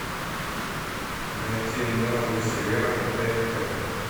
найти новый сериал на тнт